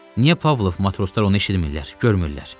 Niyə Pavlov matroslar onu eşitdilər, görmürlər.